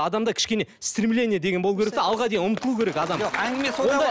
адамда кішкене стремление деген болу керек те алға деген ұмтылу керек адам